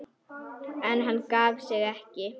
En hann gaf sig ekki.